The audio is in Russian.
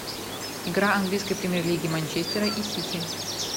игра английской премьер лиги манчестера и сити